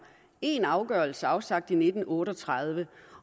én afgørelse afsagt i nitten otte og tredive